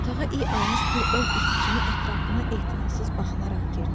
Otağa iyi almış bir ov iti kimi ətrafına ehtinatsız baxınaraq girdi.